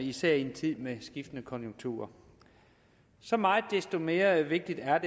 især i en tid med skiftende konjunkturer så meget desto mere vigtigt er